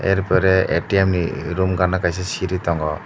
arpore ATM ni room gana kaisa siri tongo.